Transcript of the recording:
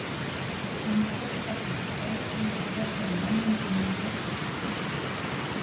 Mannfræði kallast sú fræðigrein sem fjallar um manninn sem lífveru og sem félagsveru.